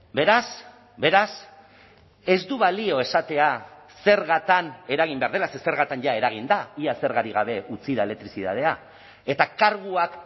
beraz beraz ez du balio esatea zergatan eragin behar dela ze zergatan jada eragin da ia zergarik gabe utzi da elektrizitatea eta karguak